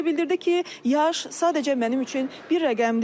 O isə bildirdi ki, yaş sadəcə mənim üçün bir rəqəmdir.